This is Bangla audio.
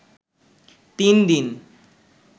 তিন দিন